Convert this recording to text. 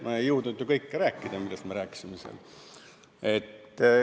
Ma ei jõudnud ju kõike rääkida, millest me seal rääkisime.